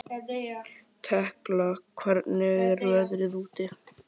Tekla, hvernig er veðrið úti?